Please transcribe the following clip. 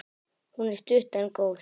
Hún er stutt en góð.